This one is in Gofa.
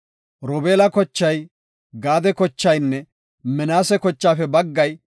Robeela kochay, Gaade kochaynne Minaase kochaafe baggay,